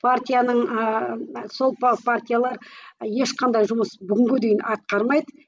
партияның ааа сол партиялар ешқандай жұмыс бүгінге дейін атқармайды